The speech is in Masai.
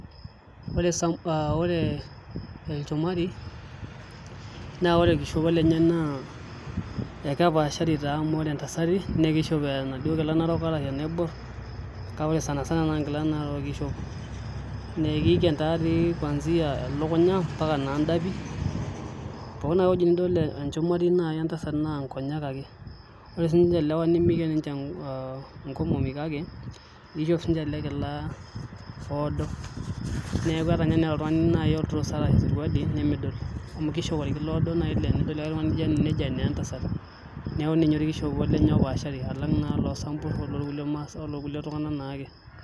Ore sam aa ore ilchumari naa ore olkishopo lenye naa kepashari amu ore ntasati naa kishop enaaduo Kila narop arashu enaibor kake ore sani sana na Narook eishop nee keiken taatoi kwanzia elukunya mpaka indapi pooki ake ewueji nidol enchumari endasat naa nkonyek ake ore siinche lewa nimiken ninche inkomomi kake ishop sinche ele Kila oodo neeku teneeta ninye nai oltungani olturosa arashu esuruali nimidol amu kishop olkila oodo laa tenedol oltungani nejo enaa entasat ninye olkishopo lenye opaashari alang naa olosampur ololkulie Masai ololkulie tungana naake .